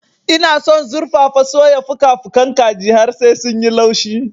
Ina son zurfafa-soya fuka-fukan kaji har sai sun yi laushi.